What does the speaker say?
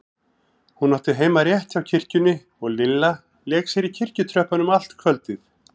Hún átti heima rétt hjá kirkjunni og Lilla lék sér í kirkjutröppunum allt kvöldið.